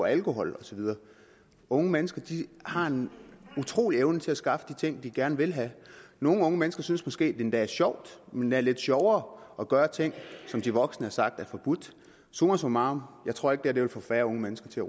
alkohol og så videre unge mennesker har en utrolig evne til at skaffe de ting de gerne vil have nogle unge mennesker synes måske endda er sjovt endda lidt sjovere at gøre ting som de voksne har sagt er forbudt summa summarum jeg tror ikke at det her vil få færre unge mennesker til